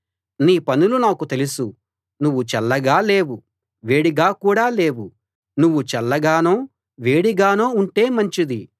నీ పనులు నాకు తెలుసు నువ్వు చల్లగా లేవు వేడిగా కూడా లేవు నువ్వు చల్లగానో వేడిగానో ఉంటే మంచిది